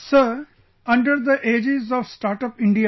Sir, under the aegis of StartUp India